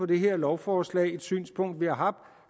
det her lovforslag det er et synspunkt vi har haft